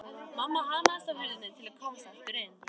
Mamma hamaðist á hurðinni til að komast aftur inn.